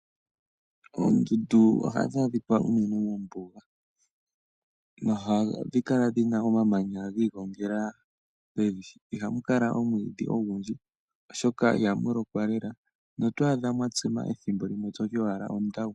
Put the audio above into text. Oondundu ohadhi adhika unene moombuga . Ohadhi kala dhina omamanya giigongela . Ihamu kala omwiidhi ogundji oshoka ihamu lokwa lela notwaadha mwatsima methimbo limwe toti owala ondawu.